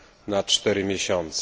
na 4 miesiące.